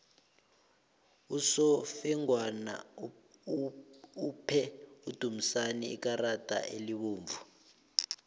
usofengwana uphe udumisani ikarada elibovu